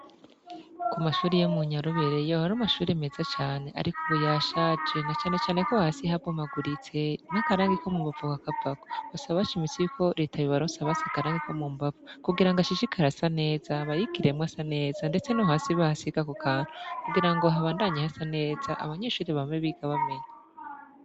Ku mashuri yo mu Nyorobere yahora ari amashuri meza cane, ariko ubu yashaje na canecane ko hasi habomaguritse n'akarangi ko mu mbavu kakavako, basaba bashimitse yuko reta yobaronsa basi akarangi ko mu mbavu kugira ngo hashishikara hasa neza bayigiremwo asa neza, ndetse no hasi bahasige ako kantu kugira ngo habandanye hasa neza abanyeshuri bame biga bamenya.